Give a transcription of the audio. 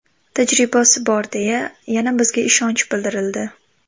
Tajribasi bor deya, yana bizga ishonch bildirildi.